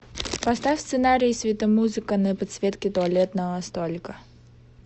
поставь сценарий светомузыка на подсветке туалетного столика